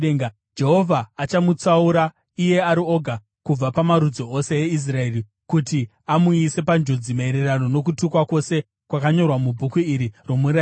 Jehovha achamutsaura iye ari oga kubva pamarudzi ose eIsraeri kuti amuise panjodzi, maererano nokutukwa kwose kwakanyorwa mubhuku iri romurayiro.